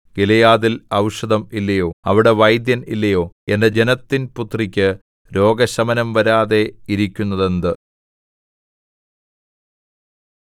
ഗിലെയാദിൽ ഔഷധം ഇല്ലയോ അവിടെ വൈദ്യൻ ഇല്ലയോ എന്റെ ജനത്തിൻ പുത്രിക്ക് രോഗശമനം വരാതെ ഇരിക്കുന്നതെന്ത്